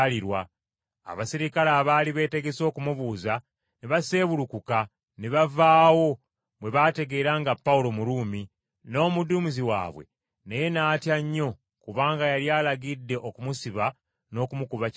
Abaserikale abaali beetegese okumubuuza ne baseebulukuka ne bavaawo bwe baategeera nga Pawulo Muruumi, n’omuduumizi waabwe naye n’atya nnyo kubanga yali alagidde okumusiba n’okumukuba kibooko.